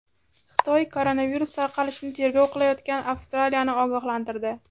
Xitoy koronavirus tarqalishini tergov qilayotgan Avstraliyani ogohlantirdi.